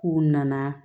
K'u nana